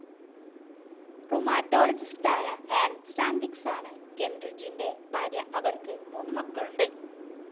റുമാറ്റോളജിസ്റ്റായ Ann സ്റ്റാൻവിക്സാണ് കെൻറിഡ്ജിന്റെ ഭാര്യ. അവർക്ക് മൂന്നു മക്കളുണ്ട്.